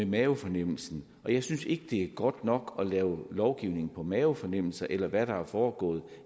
mavefornemmelsen og jeg synes ikke det er godt nok at lave lovgivning på mavefornemmelser eller hvad der er foregået